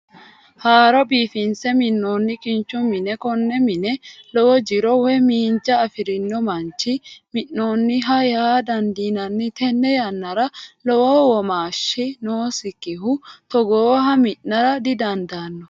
Haaro biifinse minonni kinchu mine kone mine lowo jiro woyi miinja afirino manchi mi'ninoho yaa dandinanni tene yanara lowo womaashi noosikihu togooha mi'nara didandaano